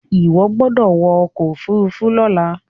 iwọ gbódò wọ ọkọ òfurufú lola!